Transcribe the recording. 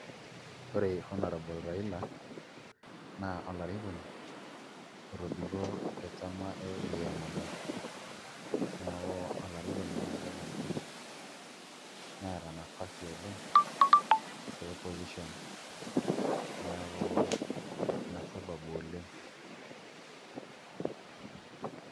Ore honourable Raila naa olarikoni otobiko tenchama e ODM oleng' neeku olarikoni naai neeta nafasi oleng' te opposition neeku ina sababu oleng'.